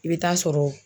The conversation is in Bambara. I bɛ taa sɔrɔ